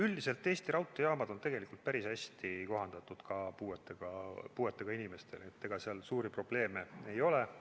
Üldiselt on Eesti raudteejaamad päris hästi kohandatud ka puuetega inimestele, ega seal suuri probleeme ei ole.